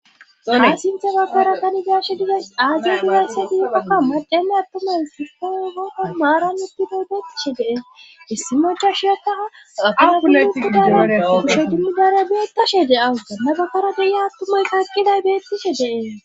Dona sinthe bakara kanigashe dide aazi huuyasse diua kamma deelle attomay sisfogoho maarannuti boodetishe dee issi mocha shiyakaa aaaguleutudaala dushetumidarabeeta she de awua nabakara deya attumay karqiday beettishe dee.